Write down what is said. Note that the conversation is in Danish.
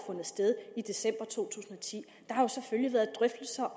sted i december to tusind og ti der har selvfølgelig været drøftelser